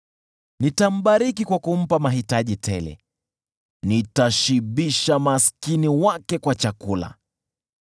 Nitambariki kwa kumpa mahitaji tele: nitashibisha maskini wake kwa chakula.